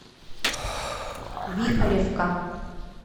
вихоревка